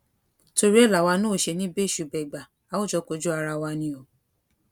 torí ẹ làwa náà ò ṣe ní í bẹṣù bẹgbà a ò jọ kojú ara wa ni o